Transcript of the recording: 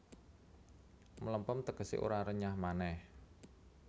Mlempem tegesé ora renyah manéh